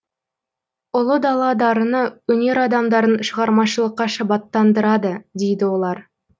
ұлы дала дарыны өнер адамдарын шығармашылыққа шабыттандырады дейді олар